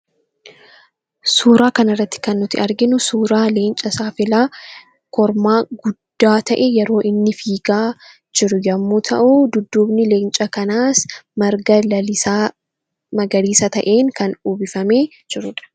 Suuraa kanarratti kan nuti arginu suuraa leenca saafelaa kormaa guddaa ta'e, yeroo inni fiigaa jiru yommuu ta'u, dudduubni leenca kanaas marga lalisaa magariisa ta'een kan uwwifamee jirudha.